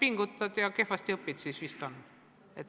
No kui sa kehvasti õpid, siis on.